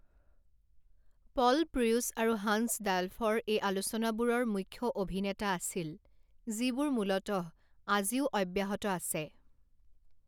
পল Preuss আৰু Hans ডালফৰ এই আলোচনাবোৰৰ মুখ্য অভিনেতা আছিল, যিবোৰ মূলতঃ আজিও অব্যাহত আছে।